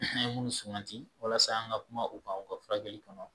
An ye minnu sumati walasa an ka kuma u kan u ka furakɛli kɔnɔ